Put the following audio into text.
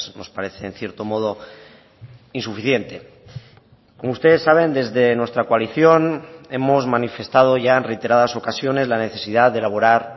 nos parece en cierto modo insuficiente como ustedes saben desde nuestra coalición hemos manifestado ya en reiteradas ocasiones la necesidad de elaborar